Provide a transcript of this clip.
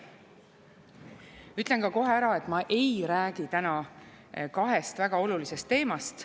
Ütlen kohe ära, et ma ei räägi täna kahest väga olulisest teemast.